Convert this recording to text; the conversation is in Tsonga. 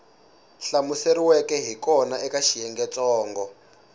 hlamuseriweke hi kona eka xiyengentsongo